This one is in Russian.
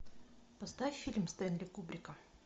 поставь фильм стэнли кубрика